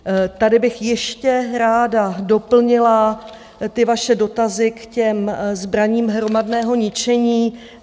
Tady bych ještě ráda doplnila ty vaše dotazy k těm zbraním hromadného ničení.